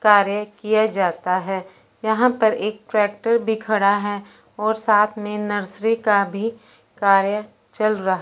कार्य किया जाता हैं यहां पर एक ट्रैक्टर भी खड़ा है और साथ में नर्सरी का भी कार्य चल रहा--